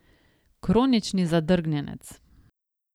Kronični zadrgnjenec.